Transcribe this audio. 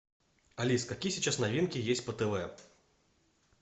алиса какие сейчас новинки есть по тв